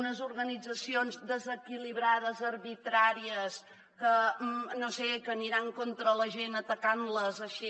unes organitzacions desequilibrades arbitràries que no sé aniran contra la gent atacant les així